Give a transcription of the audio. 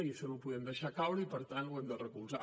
i això no ho podem deixar caure i per tant ho hem de recolzar